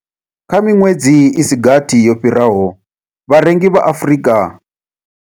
Kha miṅwedzi i si gathi yo fhiraho, vharengi vha Afrika.